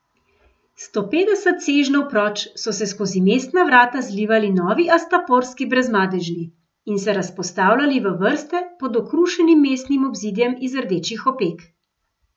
Sto petdeset sežnjev proč so se skozi mestna vrata zlivali novi astaporski Brezmadežni in se razpostavljali v vrste pod okrušenim mestnim obzidjem iz rdečih opek.